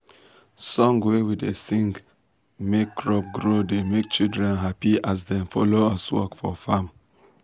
song wey we da sing make crop grow da make children happy as dem da follow us work for farm